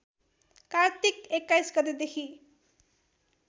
कार्तिक २१ गतेदेखि